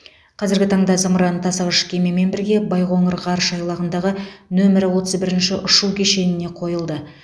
қазіргі таңда зымыран тасығыш кемемен бірге байқоңыр ғарыш айлағындағы нөмірі отыз бірінші ұшу кешеніне қойылды